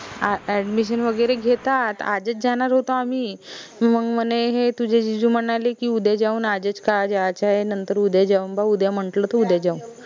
admission वगैरे घेतात आजच जानार होतो आम्ही मंग म्हने हे तुझे जीजू म्हनाले की उद्या जाऊन आजच का जाचाय नंतर उद्या जाऊन बा उद्या म्हंटल त उद्या जाऊ